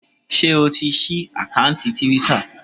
Ṣé o ti ṣí àkántì Twitter?